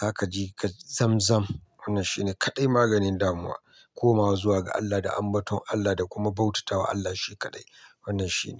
za ka ji ka zam-zam. Wannan shi ne kaɗai maganin damuwa. Komawa zuwa ga Allah da ambaton Allah da kuma bautatawa Allah shi kaɗai. Wannan shi ne.